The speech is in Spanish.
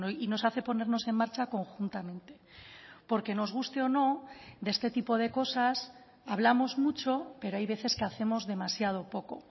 y nos hace ponernos en marcha conjuntamente porque nos guste o no de este tipo de cosas hablamos mucho pero hay veces que hacemos demasiado poco